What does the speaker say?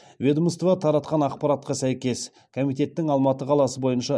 ведомство таратқан ақпаратқа сәйкес комитеттің алматы қаласы бойынша